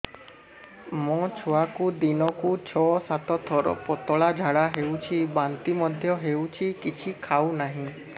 ମୋ ଛୁଆକୁ ଦିନକୁ ଛ ସାତ ଥର ପତଳା ଝାଡ଼ା ହେଉଛି ବାନ୍ତି ମଧ୍ୟ ହେଉଛି କିଛି ଖାଉ ନାହିଁ